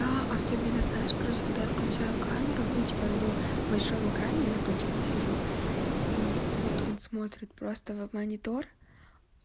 да особенно знаешь короче когда я включаю камеру ну типо его большом экране я на планшете сижу и вот он смотрит просто вот в монитор